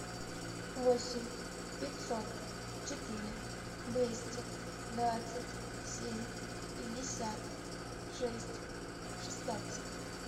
восемь пятьсот четыре двести двадцать семь пятьдесят шесть шестнадцать